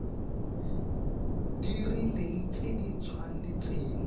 di rileng tse di tshwanetseng